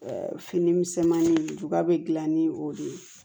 Fini misɛnmanin juba bɛ gilan ni o de ye